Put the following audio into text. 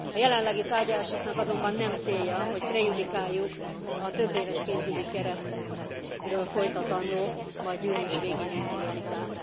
A jelenlegi tárgyalásoknak azonban nem célja, hogy prejudikáljuk a több éves pénzügyi keretről folytatandó, majd június végén induló vitát.